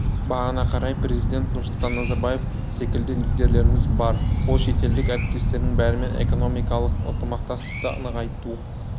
бағына қарай президент нұрсұлтан назарбаев секілді лидерлеріміз бар ол шетелдік әріптестерінің бәрімен экономикалық ынтымақтастықты нығайту